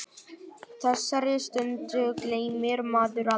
Þessari stundu gleymir maður aldrei.